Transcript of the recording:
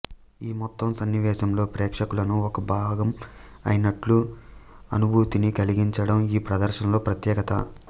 ఈ మొత్తం సన్ని వేశంలో ప్రేక్షకులను ఒక భాగంయినట్లు అనుభూతిని కలిగించడం ఈ ప్రదర్శనలో ప్రత్యేకత